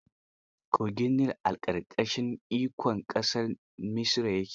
Kogin Nil a ƙarƙashin ikon ƙasar Misra ke.